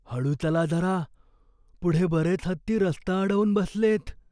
हळू चला जरा. पुढे बरेच हत्ती रस्ता अडवून बसलेत.